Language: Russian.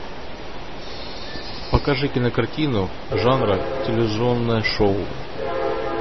покажи кинокартину жанра телевизионное шоу